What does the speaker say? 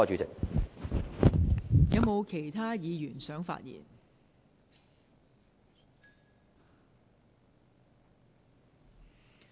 是否有其他議員想發言？